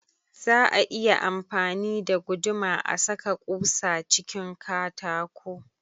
Za a iya amfani da guduma a saka ƙusa cikin katako